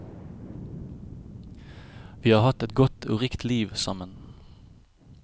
Vi har hatt et godt og rikt liv sammen.